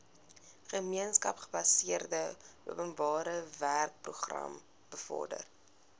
gemeenskapsgebaseerde openbarewerkeprogram bevorder